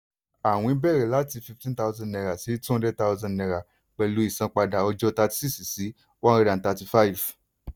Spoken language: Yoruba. àwìn bẹ̀rẹ̀ láti fifteen thousand sí two hundred thousand pẹ̀lú ìsanpadà ọjọ́ thirty six sí one hundred and thirty five.